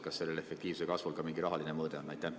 Kas sellel efektiivse kasvul on ka mingi rahaline mõõde?